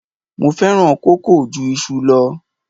Mo fẹ́ràn kókò ju iṣu lọ.